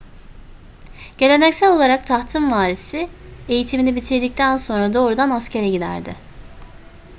geleneksel olarak tahtın varisi eğitimini bitirdikten sonra doğrudan askere giderdi